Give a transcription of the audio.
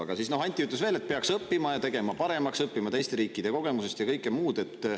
Aga Anti ütles välja, et peaks tegema seda paremaks ja õppima teiste riikide kogemusest, ja kõike muud.